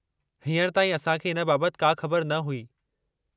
हींअर ताईं असां खे इन बाबति का ख़बर न हुई।